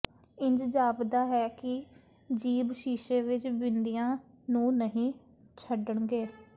ਇੰਜ ਜਾਪਦਾ ਹੈ ਕਿ ਜੀਭ ਸ਼ੀਸ਼ੇ ਵਿਚ ਬਿੰਦੀਆਂ ਨੂੰ ਨਹੀਂ ਛੱਡਣਗੇ